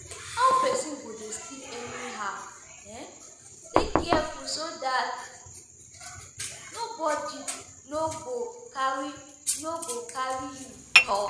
How person go dey sleep anyhow? Dey careful so dat somebody no go carry no go carry you tu.